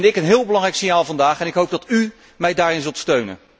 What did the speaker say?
Dat vind ik een heel belangrijk signaal vandaag en ik hoop dat u mij daarin zult steunen.